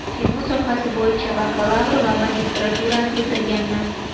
Kino sohasi bo‘yicha bakalavr va magistraturani bitirganman.